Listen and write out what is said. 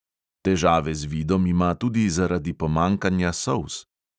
Težave z vidom ima tudi zaradi pomanjkanja solz.